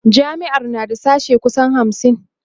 jami'ar na da sashe kusan hamsin